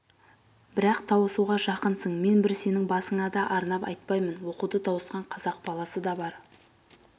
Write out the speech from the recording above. бірақ тауысуға жақынсың мен бір сенің басыңа да арнап айтпаймын оқуды тауысқан қазақ баласы да бар